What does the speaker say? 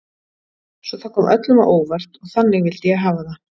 Svo það kom öllum á óvart og þannig vildi ég hafa það.